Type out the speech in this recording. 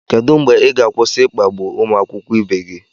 Kedụ mgbe ị ga-akwụsị ịkpagbu ụmụ akwụkwọ ibe gị